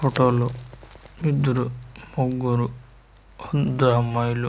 photo లో ఇద్దరు ముగ్గురు అంతా అమ్మాయిలు --